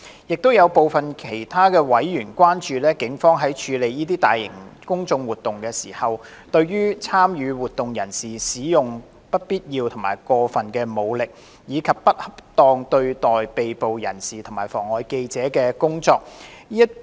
亦有部分其他委員關注警方在處理大型公眾活動時，對參與活動人士使用不必要和過分武力，以及不恰當對待被捕人士及妨礙記者工作。